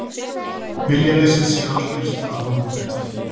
Viljaleysið sé algjört af hálfu þeirra